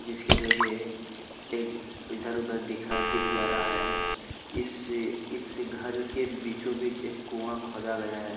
इसके जरिए इधर-उधर दिख जा रहा है इसे घर के बीचों-बीच एक कुआं खोदा गया है।